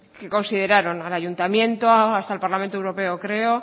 que consideraron al ayuntamiento hasta al parlamento europeo creo